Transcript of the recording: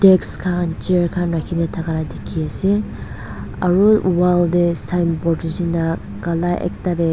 deks khan chair khan rakhina thaka la dikhi ase aro wall dey signboard nishina kala ekta dey.